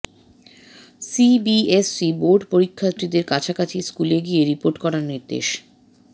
C B S E board পরীক্ষার্থীদের কাছাকাছি স্কুলে গিয়ে রিপোর্ট করার নির্দেশ